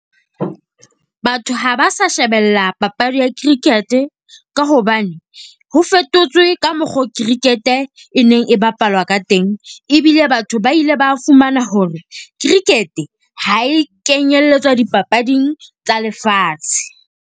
Batho ha ba sa shebella papadi ya cricket, ka hobane ho fetotswe ka mokgo cricket-e e neng e bapalwa ka teng. Ebile batho ba ile ba fumana hore cricket ha e kenyelletswa dipapading tsa lefatshe.